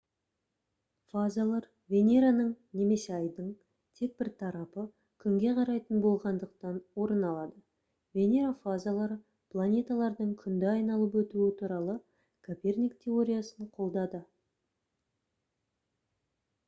фазалар венераның немесе айдың тек бір тарапы күнге қарайтын болғандықтан орын алады. венера фазалары планеталардың күнді айналып өтуі туралы коперник теориясын қолдады